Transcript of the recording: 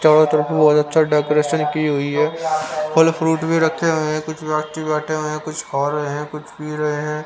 चारों तरफ बहुत अच्छा डेकोरेशन की हुई है फल फ्रूट भी रखे हुए हैं कुछ व्यक्ति बैठे हुए हैं कुछ खा रहे हैं कुछ पी रहे हैं।